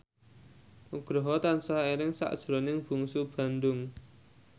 Nugroho tansah eling sakjroning Bungsu Bandung